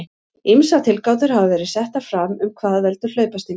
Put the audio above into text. Ýmsar tilgátur hafa verið settar fram um hvað veldur hlaupasting.